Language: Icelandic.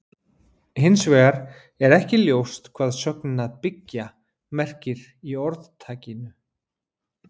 Hins vegar er ekki ljóst hvað sögnin að byggja merkir í orðtakinu.